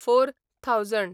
four thousand